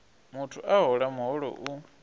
muthu a hola muholo u